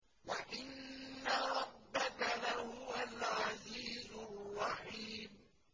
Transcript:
وَإِنَّ رَبَّكَ لَهُوَ الْعَزِيزُ الرَّحِيمُ